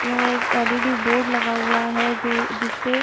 यहाँ एक LED. Board लगा हुआ है जो जिसपे --